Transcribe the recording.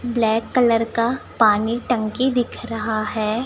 Black colour का पानी टंकी दिख रहा है।